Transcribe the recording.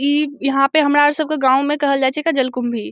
इ ईहा पे हमरा र सब के गांव में कहल जाये छे एक्का जलकुम्भी।